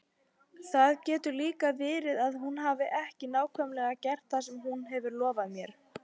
Það getur líka verið að hún hafi ekki nákvæmlega gert það sem hún lofaði mér.